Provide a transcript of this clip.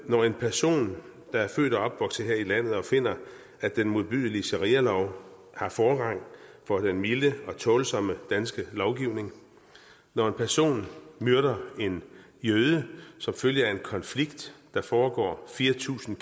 når en person der er født og opvokset her i landet og finder at den modbydelige sharialov har forrang for den milde og tålsomme danske lovgivning når en person myrder en jøde som følge af en konflikt der foregår fire tusind